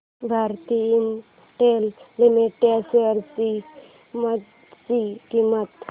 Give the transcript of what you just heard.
Bharti Infratel limited shares ची सध्याची किंमत